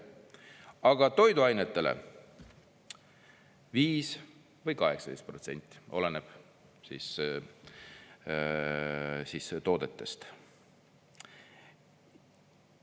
Aga toiduainetele 5% või 18%, oleneb toodetest.